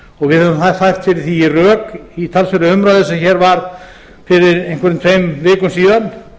við höfum fært fyrir því rök í talsverðri umræðu sem hér varð fyrir einhverjum tveim vikum síðan